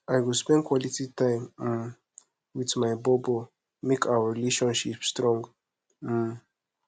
i go spend quality time um wit my bobo make our relationship strong um